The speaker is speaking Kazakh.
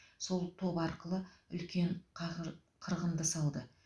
сол топ арқылы үлкен қағыр қырғынды салды